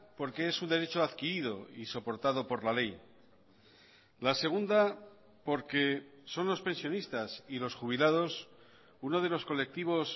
porque es un derecho adquirido y soportado por la ley la segunda porque son los pensionistas y los jubilados uno de los colectivos